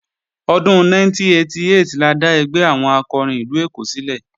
Ọdún 1988 la dá ẹgbẹ́ àwọn akọrin ìlú Èkó sílẹ̀